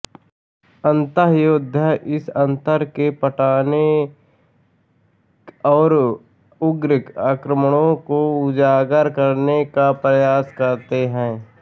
अंतःयोद्धा इस अंतर को पाटने और उग्र आक्रमणों को उजागर करने का प्रयास करते हैं